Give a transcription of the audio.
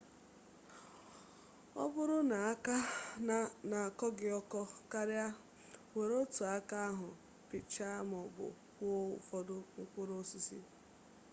ọ bụrụ na aka na-akọ gị ọkọ karịa were otu aka ahụ pịchaa maọbụ kwọọ ụfọdụ mkpụrụ osisi